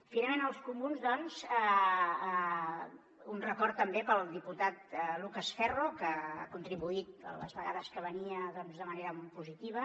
finalment als comuns doncs un record també pel diputat lucas ferro que ha contribuït les vegades que venia doncs de manera molt positiva